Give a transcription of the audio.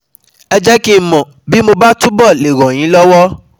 ẹ jẹ́ kí n mọ bí mo bá túbọ̀ le ràn yín lọ́wọ́